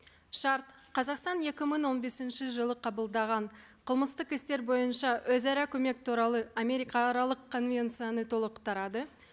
шарт қазақстан екі мың он бесінші жылы қабылдаған қылмыстық істер бойынша өзара көмек туралы америкааралық конвенцияны толықтырады